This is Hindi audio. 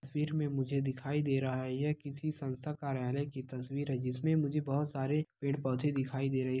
इस तस्वीर में मुझे दिखाई दे रहा है यह किसी संस्था कार्यालय की तस्वीर है जिसमें मुझे बहुत सारे पेड़-पौधे दिखाई दे रहे--